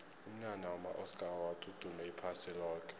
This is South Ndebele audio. umnyanya wama oscar awards udume iphasi loke